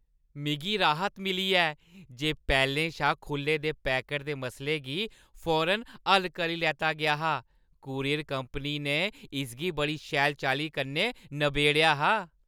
मिगी राहत मिली ऐ जे पैह्‌लें शा खुʼल्ले दे पैकट दे मसले गी फौरन हल्ल करी लैता गेआ हा। कूरियर कंपनी ने इसगी बड़ी शैल चाल्ली कन्नै नबेड़ेआ हा।